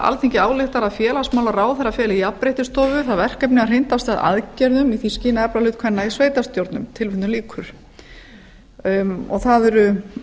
alþingi ályktar að félagsmálaráðherra feli jafnréttisstofu það verkefni að hrinda af stað aðgerðum í því skyni að efla hlut kvenna í sveitarstjórnum það eru þingmenn